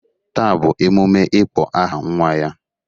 Taa bụ emume ịkpọ aha nwa ya